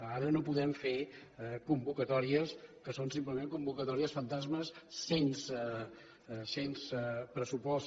ara no podem fer convocatòries que són simplement convocatòries fantasmes sense pressupost